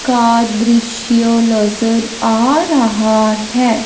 का दृश्य नजर आ रहा है।